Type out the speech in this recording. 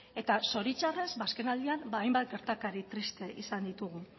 eta zoritxarrez azkenaldian hainbat gertakari triste izan ditugu